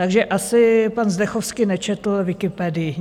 Takže asi pan Zdechovský nečetl Wikipedii.